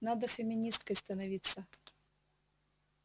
надо феминисткой становиться